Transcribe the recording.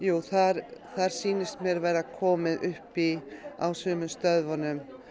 þar sýnist mér vera komið upp í á sumum stöðvunum